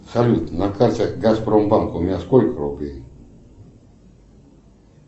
салют на карте газпромбанк у меня сколько рублей